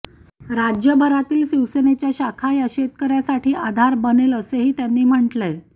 राज्यभरातील शिवसेनेच्या शाखा या शेतकऱ्यासाठी आधार बनेल असेही त्यांनी म्हटलंय